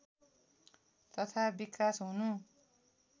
तथा विकास हुनु